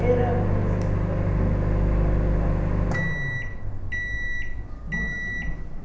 Era manso de fazer, puxava com aquele. Manso, manso, manso